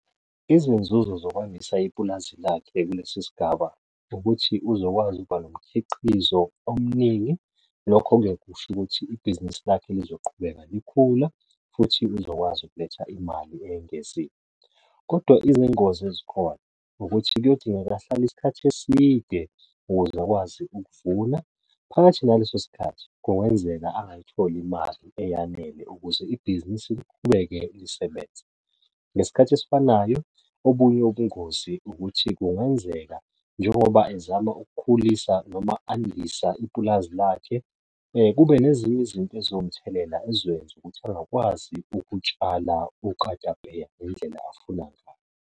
Izinzuzo zokwandisa ipulazi lakhe kulesi sigiba ukuthi uzokwazi ukuba nomkhiqizo omningi, lokho-ke kusho ukuthi ibhizinisi lakhe lizoqhubeka likhula futhi likwazi ukuletha imali eyengeziwe. Kodwa izingozi ezikhona ukuthi kuyodongeka ahlale usukhathi eside ukuze akwazi ukuvuna, phakathi naleso sikhathi kungenzeka angayitholi imali eyanele ukuze ibhizinisi liqhubeke lisebenze. Ngesikhathi esifanayo obunye ubungozi ukuthi kungenzeka njengoba ezama ukukhulisa noma andisa ipulazi lakhe, kube nezinye izinto eziwumthelela ezizokwenza ukuthi ukutshala okatapeya ngendlela afuna ngayo.